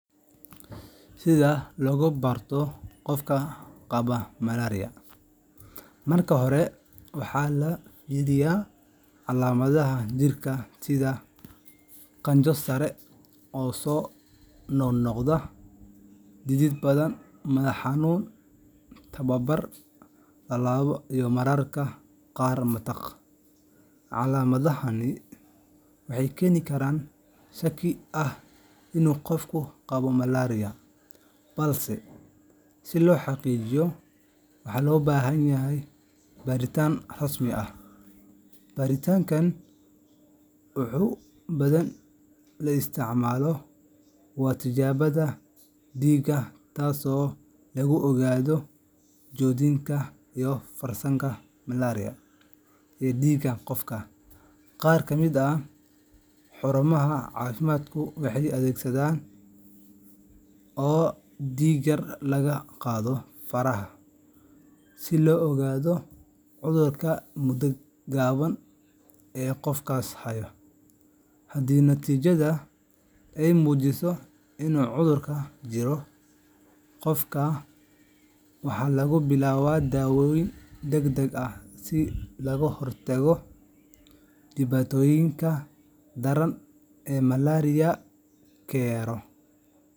Si looga barto qofka qaba malaria, marka hore waxaa la fiiriyaa calaamadaha jirka sida qandho sare oo soo noqnoqota, dhidid badan, madax xanuun, tabardarri, lalabo iyo mararka qaar matag. Calaamadahani waxay keeni karaan shaki ah in uu qofku qabo malaria, balse si loo xaqiijiyo waxaa loo baahan yahay baaritaan rasmi ah. Baaritaanka ugu badan ee la isticmaalo waa tijaabada dhiigga, taasoo lagu ogaanayo joogitaanka fayraska malaria ee dhiigga qofka. Qaar ka mid ah xarumaha caafimaadku waxay adeegsadaan baadhitaano degdeg ah oo dhiig yar laga qaado faraha, si loo ogaado cudurka muddo gaaban gudaheed. Haddii natiijada ay muujiso in uu cudurka jiro, qofka waxaa loo bilaabaa daaweyn degdeg ah si looga hortago dhibaatooyinka daran ee malaria keno